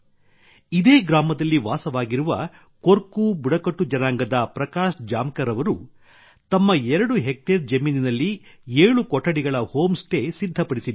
ಇದೇ ಗ್ರಾಮದಲ್ಲಿ ವಾಸವಾಗಿರುವ ಕೊರ್ಕು ಬುಡಕಟ್ಟು ಜನಾಂಗದ ಪ್ರಕಾಶ್ ಜಾಮಕರ್ ಅವರು ತಮ್ಮ ಎರಡು ಹೆಕ್ಟೇರ್ ಜಮೀನಿನಲ್ಲಿ ಏಳು ಕೊಠಡಿಗಳ ಹೋಂ ಸ್ಟೇ ಸಿದ್ಧಪಡಿಸಿದ್ದಾರೆ